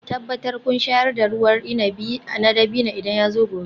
Tabbatar kun shayar da ruwan inabi na dabino idan yazo gobe